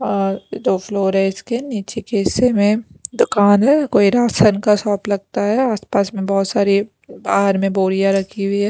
और दो फ्लोर है इसके नीचे के हिस्से में दुकान है कोई राशन का शॉप लगता है आसपास में बहुत सारी बाहर में बोरियां रखी हुई है।